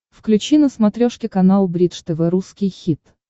включи на смотрешке канал бридж тв русский хит